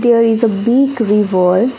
There is a big river.